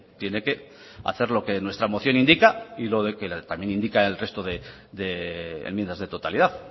tiene que hacer lo que nuestra moción indica y lo que también indican el resto de enmiendas de totalidad